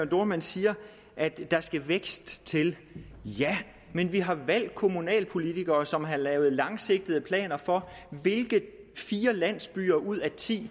dohrmann siger at der skal vækst til ja men vi har valgt kommunalpolitikere som har lavet langsigtede planer for hvilke fire landsbyer ud af ti